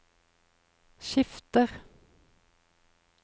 skifter